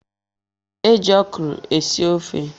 E ji okwuru esi ofe.